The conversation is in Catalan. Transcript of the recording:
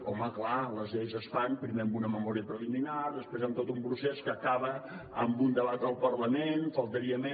home clar les lleis es fan primer amb una memòria preliminar després amb tot un procés que acaba amb un debat al parlament faltaria més